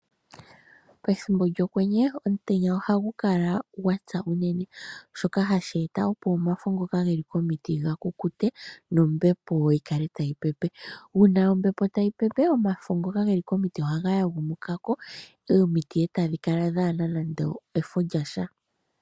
Pethimbo lyokwenye omutenya oha gu kala gwapya unene, shoka hashi eta opo omafo ngoka ge li komiti ga kukute nombepo yi kale tayi pepe. Uuna ombepo tayi pepe omafo ngoka ge li komiti ohaga yagumukako etaga gwile pevi.